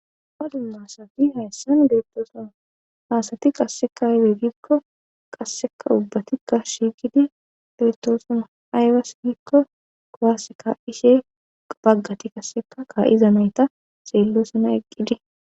dumma dumma asati hayssan beettoosna haasati qasseka aybegikko qasseka ubbatikka shiiqidi deettoosna aywas diikko kowaase ka7ishe baggati qasseka kaa7iza mayta seello sana eqqidi